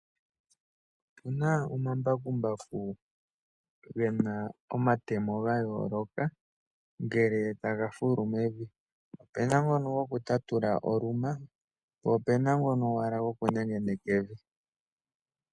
Otu na omambakumbaku ge na omatemo ga yooloka ngele taga fulu mevi. Otu na ngono gokutatula oluma, po ope na ngono owala gokunengeneka evi.